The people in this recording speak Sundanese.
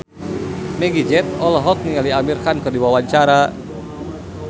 Meggie Z olohok ningali Amir Khan keur diwawancara